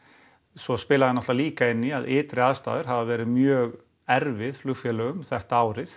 svo spilaði náttúrulega líka inn í að ytri aðstæður hafa verið mjög erfiðar flugfélögum þetta árið